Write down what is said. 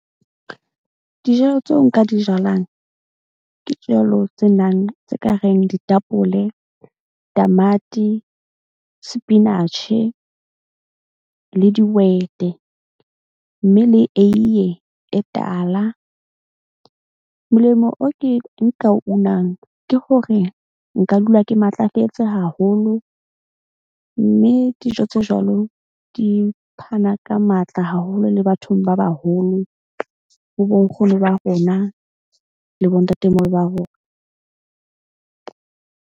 Dijalo tseo nka di jalang ke tse nang tse ka reng ditapole, tamati, sepinatjhe, le dihwete. Mme le eiye e tala. Molemo o ke nka unang ke hore nka dula ke matlafetse haholo. Mme dijo tse jwalo di phana ka matla haholo le bathong ba baholo, ho bo nkgono ba rona le bontatemoholo ba rona.